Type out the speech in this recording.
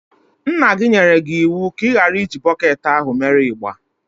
Nna gi nyere gị iwu ka ighara iji bọketi ahụ mere igba.